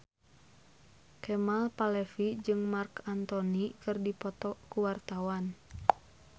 Kemal Palevi jeung Marc Anthony keur dipoto ku wartawan